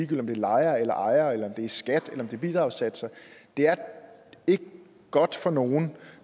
det er lejere eller ejere eller om det er skat eller bidragssatser det er ikke godt for nogen